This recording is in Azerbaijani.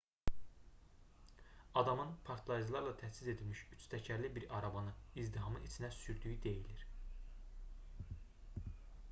adamın partlayıcılarla təchiz edilmiş üç təkərli bir arabanı izdihamın içinə sürdüyü deyilir